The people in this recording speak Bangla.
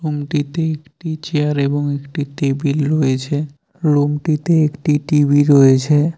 রুম -টিতে একটি চেয়ার এবং একটি টেবিল রয়েছে রুম -টিতে একটি টি_ভি রয়েছে।